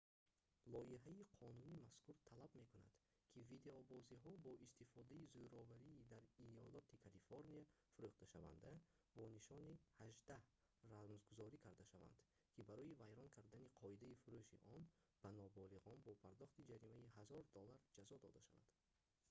лоиҳаи қонуни мазкур талаб мекунад ки видеобозиҳои бо истифодаи зӯровии дар иёлати калифорния фурӯхташаванда бо нишони 18 рамзгузорӣ карда шаванд ки барои вайрон кардани қоидаи фурӯши он ба ноболиғон бо пардохти ҷаримаи 1000 доллар ҷазо дода шавад